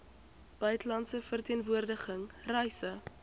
buitelandse verteenwoordiging reise